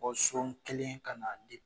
bɔsɔn keken sonon kelen ka n'a di ma